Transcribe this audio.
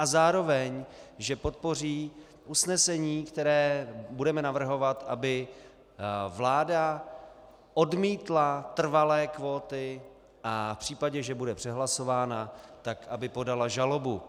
A zároveň že podpoří usnesení, které budeme navrhovat, aby vláda odmítla trvalé kvóty, a v případě, že bude přehlasována, tak aby podala žalobu.